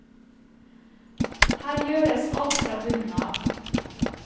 Her gjøres alt fra bunnen av.